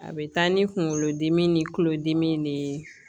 A bɛ taa ni kunkolodimi ni kulodimi de ye